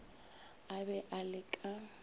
a be a le ka